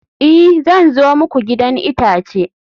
i, zan zo muku gidan itace